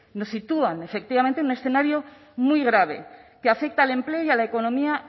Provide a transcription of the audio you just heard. nos sitúan efectivamente en un escenario muy grave que afecta al empleo y a la economía